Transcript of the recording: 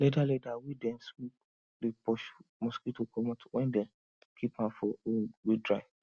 leather leather wey dem smoke dey pursue mosquito comot when dem keep an for room wey dry